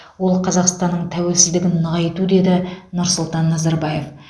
ол қазақстанның тәуелсіздігін нығайту деді нұрсұлтан назарбаев